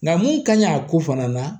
Nka mun ka ɲi a ko fana na